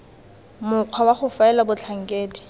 mokgwa wa go faela batlhankedi